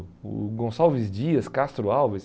O Gonçalves Dias, Castro Alves.